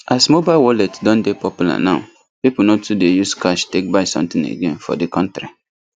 as mobile wallet don dey popular now people no too dey use cash take buy something again for the country